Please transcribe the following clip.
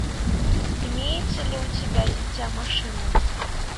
имеется ли у тебя дитя машины